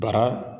Bara